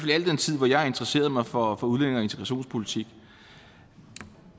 i al den tid hvor jeg har interesseret mig for udlændinge og integrationspolitik